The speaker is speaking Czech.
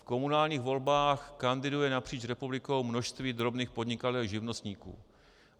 V komunálních volbách kandiduje napříč republikou množství drobných podnikatelů, živnostníků.